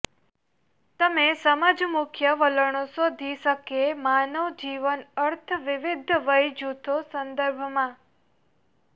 તમે સમજ મુખ્ય વલણો શોધી શકે માનવ જીવન અર્થ વિવિધ વય જૂથો સંદર્ભમાં